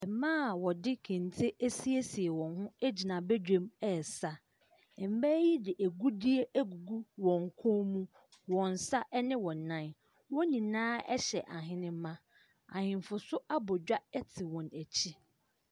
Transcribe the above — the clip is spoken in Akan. Mmaa a wɔde kente asiesie wɔn ho gyina badwam resa. Mmaa yi de agudeɛ agugu wɔn kɔn mu, wɔn nsa ne wɔn nan. Wɔn nyinaa hyɛ ahenemma. Ahemfo nso abɔ dwa te wɔn akyi.